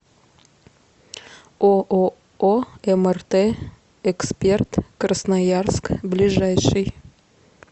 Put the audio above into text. ооо мрт эксперт красноярск ближайший